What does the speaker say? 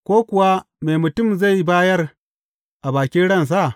Ko kuwa me mutum zai bayar a bakin ransa?